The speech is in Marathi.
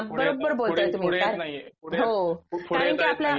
पुढे पुढे पुढे पुढे येत नाहीये